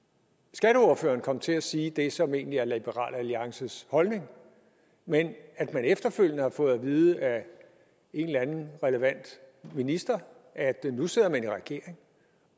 skatteordføreren kom til at sige det som egentlig er liberal alliances holdning men at man efterfølgende har fået at vide af en eller anden relevant minister at nu sidder man i regering